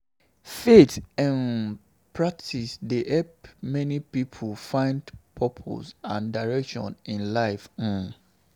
Faith um practices dey help many pipo find purpose and direction in life. um